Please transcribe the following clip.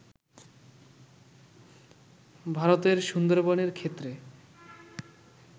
ভারতের সুন্দরবনের ক্ষেত্রে